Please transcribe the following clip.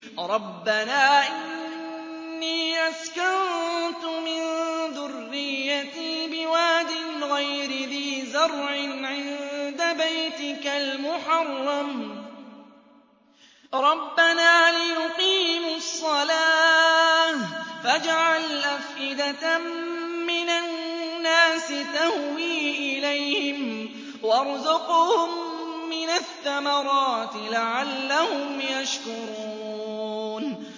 رَّبَّنَا إِنِّي أَسْكَنتُ مِن ذُرِّيَّتِي بِوَادٍ غَيْرِ ذِي زَرْعٍ عِندَ بَيْتِكَ الْمُحَرَّمِ رَبَّنَا لِيُقِيمُوا الصَّلَاةَ فَاجْعَلْ أَفْئِدَةً مِّنَ النَّاسِ تَهْوِي إِلَيْهِمْ وَارْزُقْهُم مِّنَ الثَّمَرَاتِ لَعَلَّهُمْ يَشْكُرُونَ